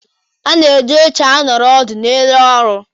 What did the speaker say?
A na-eji oche anọrọ ọdụ n'ụlọ ọrụ